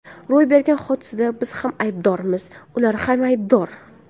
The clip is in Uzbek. Ro‘y bergan hodisada biz ham aybdormiz, ular ham aybdor.